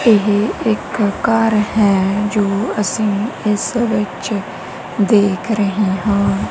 ਏਹ ਇੱਕ ਘੱਰ ਹੈ ਜੋ ਅੱਸੀ ਇੱਸ ਵਿੱਚ ਦੇਖ ਰਹੇ ਹਾਂ।